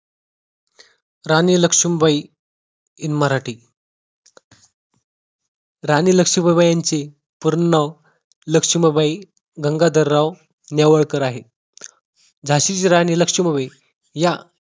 राणी Lakshmibai in Marathi. Rani Lakshmibai यांचे पूर्ण नाव लक्ष्मीबाई गंगाधरराव नेवळकर आहे झसिची राणी लक्ष्मीबाई या